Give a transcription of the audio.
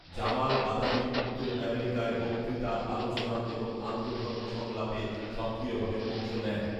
Jamal Badawi উত্তর আমেরিকায় বক্তৃতা, আলোচনা এবং আন্তঃধর্ম সংলাপে সক্রিয়ভাবে অংশ নেন